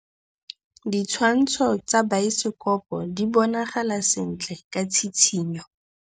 Ditshwantshô tsa biosekopo di bonagala sentle ka tshitshinyô.